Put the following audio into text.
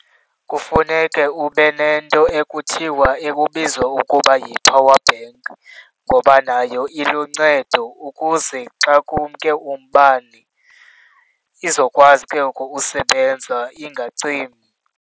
Kufuneke ube nento ekuthiwa ekubizwa ukuba yi-powerbank ngoba nayo iluncedo ukuze xa kumke umbane izokwazi ke ngoku usebenza, ingacimi.